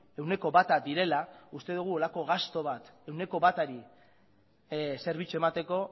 ehuneko bata direla uste dugu holako gastu bat ehuneko batari zerbitzu emateko